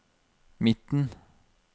midten